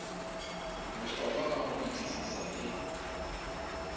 bohlokwa ka ho fetisisa e